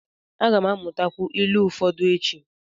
A ga m amụta ilu ụfọdụ echi.